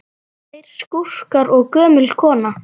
Tveir skúrkar og gömul kona